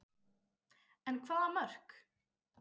En hvaða mörk?